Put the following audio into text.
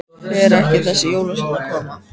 Fer ekki þessi jólasveinn að koma?